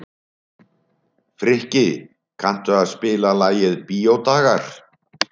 Frikki, kanntu að spila lagið „Bíódagar“?